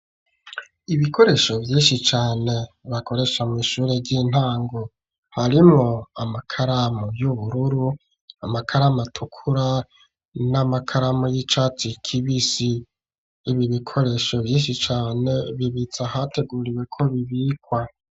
Ibikoresho vyinshi cane, bakoresha mw'ishure ry'intango; harimwo amakaramu y'ubururu, amakaramu atukura, n'amakaramu y'icatsi kibisi; ibi bikoresho vyinshi cane, bibitse ahateguriwe, ko bibikwa.